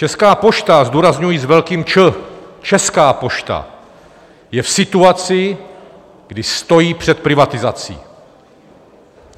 Česká pošta, zdůrazňuji s velkým Č, Česká pošta, je v situaci, kdy stojí před privatizací.